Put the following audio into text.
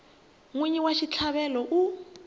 n wini wa xitlhavelo u